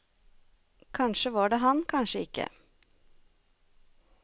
Kanskje var det han, kanskje ikkje.